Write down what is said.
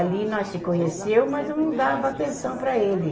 Ali nós se conheceu, mas eu não dava atenção para ele.